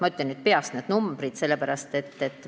Ma ütlen need summad peast.